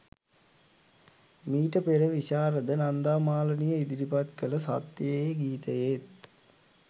මීට පෙර විශාරද නන්දා මාලනිය ඉදිරිපත් කළ සත්‍යයේ ගීතයේත්